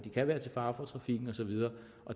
kan være til fare for trafikken og så videre